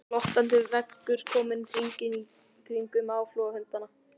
Glottandi veggur kominn hringinn í kringum áflogahundana.